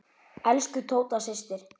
Elsku Tóta systir.